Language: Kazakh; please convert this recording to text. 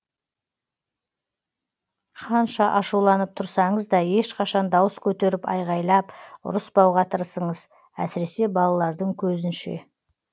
қанша ашуланып тұрсаңыз да ешқашан дауыс көтеріп айғайлап ұрыспауға тырысыңыз әсіресе балалардың көзінше